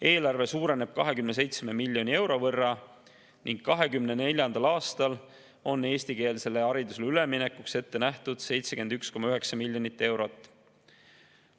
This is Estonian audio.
Eelarve suureneb 27 miljoni euro võrra ning 2024. aastal on eestikeelsele haridusele üleminekuks ette nähtud 71,9 miljonit eurot.